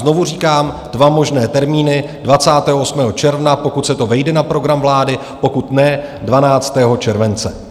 Znovu říkám dva možné termíny: 28. června, pokud se to vejde na program vlády, pokud ne, 12. července.